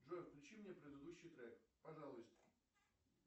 джой включи мне предыдущий трек пожалуйста